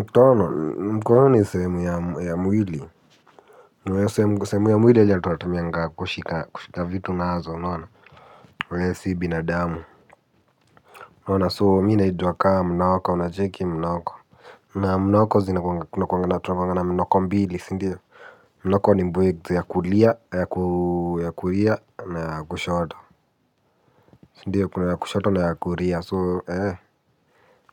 Ntono mkono ni sehemu ya mwili. Sehemu ya mwili yenye tunatamiangaa kushika kushika vitu nazo unaona. Wee si binadamu unaoana so mi naitwa kaa mnoko unacheki mnoko. Na mnoko zina kuna kuwanga na mnoko mbili sindio. Mnoko ni mbwekze ya kulia ya na ya kushoto. Sindio kuna ya kushoto na ya kulia so ee.